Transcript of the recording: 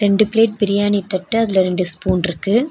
ரெண்டு பிளேட் பிரியாணி தட்டு அதுல ரெண்டு ஸ்பூன்ருக்கு .